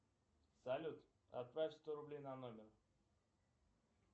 салют отправь сто рублей на номер